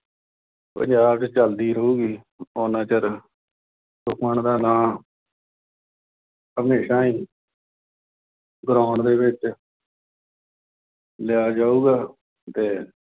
ਪੰਜਾਬ ਚ ਚਲਦੀ ਰਹੂਗੀ, ਉਨਾ ਚਿਰ ਸੁਖਮਨ ਦਾ ਨਾਂ, ਹਮੇਸ਼ਾ ਹੀ ground ਦੇ ਵਿੱਚ ਲਿਆ ਜਾਊਗਾ ਤੇ